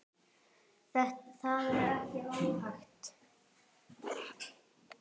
Það er ekki óþekkt.